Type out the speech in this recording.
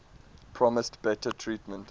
promised better treatment